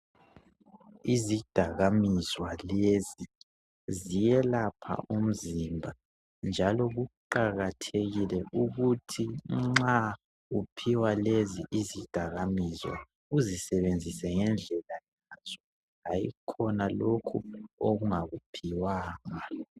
Izidakamizwa lezi ziyelapha umzimba njalo kuqakathekile ukuthi uphiwa lezi izidakamizwa uzisebenzise ngendlela yazo hayikhona lokhu okungakuphiwanga